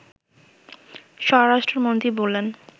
স্বরাষ্ট্রমন্ত্রী বলেন